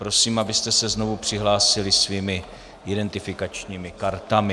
Prosím, abyste se znovu přihlásili svými identifikačními kartami.